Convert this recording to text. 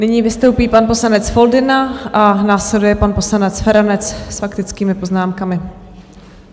Nyní vystoupí pan poslanec Foldyna a následuje pan poslanec Feranec s faktickými poznámkami.